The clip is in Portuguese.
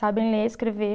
Sabem ler, escrever.